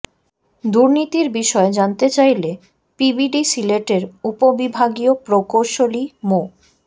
দুর্নীতির বিষয়ে জানতে চাইলে পিডিবি সিলেটের উপবিভাগীয় প্রকৌশলী মো